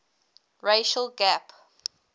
racial gap